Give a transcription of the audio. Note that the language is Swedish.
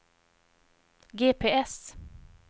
GPS